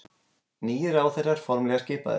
Nýir ráðherrar formlega skipaðir